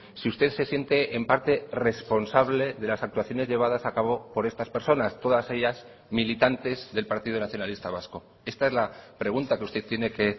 si usted se siente en parte responsable de las actuaciones llevadas a cabo por estas personas todas ellas militantes del partido nacionalista vasco esta es la pregunta que usted tiene que